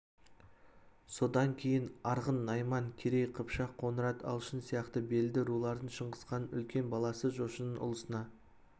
содан кейін арғын найман керей қыпшақ қоңырат алшын сияқты белді рулардың шыңғысханның үлкен баласы жошының ұлысына